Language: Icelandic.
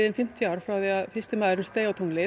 fimmtíu ár frá því að fyrsti maður steig á tunglið